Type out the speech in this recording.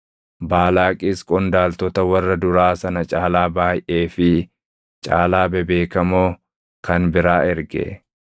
Baalaaqis qondaaltota warra duraa sana caalaa baayʼee fi caalaa bebeekamoo kan biraa erge.